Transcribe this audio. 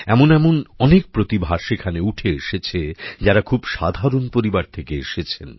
এমন এমন অনেক প্রতিভা সেখানে উঠে এসেছে যারা খুব সাধারণ পরিবার থেকে এসেছেন